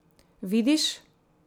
Vidiš?